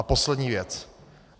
A poslední věc.